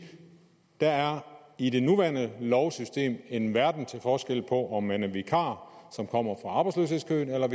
der i det nuværende lovsystem er en verden til forskel på om man er en vikar som kommer fra arbejdsløshedskøen eller